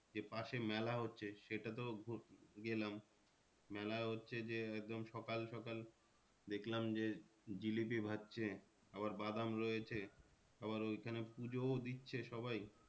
যে পাশে মেলা হচ্ছে সেটা তো গেলাম মেলা হচ্ছে যে একদম সকাল সকাল দেখলাম যে জিলিপি ভাজছে আবার বাদাম রয়েছে আবার ওইখানে পূজোও দিচ্ছে সবাই